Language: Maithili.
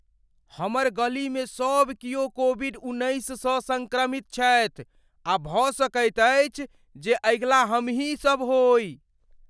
हमर गलीमे सब कियो कोविड उन्नैससँ सङ्क्रमित छथि आ भऽ सकैत अछि जे अगिला हमही सब होइ।